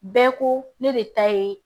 Bɛɛ ko ne de ta ye